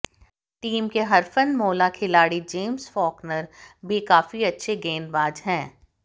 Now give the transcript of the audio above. team के हरफनमौला खिलाड़ी जेम्स फॉकनर भी काफी अच्छे गेंदबाज हैं